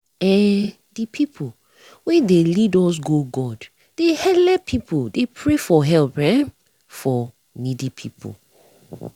eeh de pipu wen d lead us go god dey helep pipu dey pray for help ermm for needy pipu